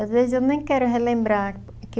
Às vezes eu nem quero relembrar. Que